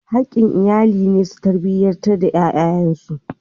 Haƙƙin iyali ne su tarbiyanci ƴaƴansu.